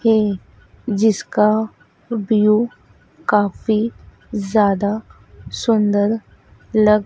है जिसका उपयोग काफी ज्यादा सुंदर लग--